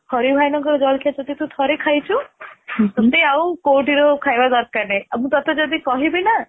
ହଋ ଭାଇନା ଙ୍କ ଜଳଖିଆ ଯଦି ତୁ ଥରେ ଖାଇଛୁ ଟଟେ ଆଉ କୋଉଥିରୁ ଖାଇବା ଦରକାର ନାହିଁ ଆଉ ମୁଁ ଟଟେ ଯଦି କହିବି ନା